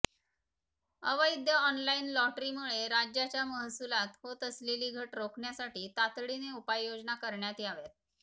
अवैध ऑनलाईन लॉटरीमुळे राज्याच्या महसुलात होत असलेली घट रोखण्यासाठी तातडीने उपाययोजना करण्यात याव्यात